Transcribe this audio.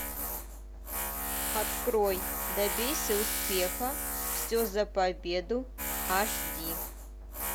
открой добейся успеха все за победу аш ди